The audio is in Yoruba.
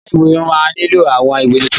Ilé-ìwé máa nílò àwọn ìwé tuntun.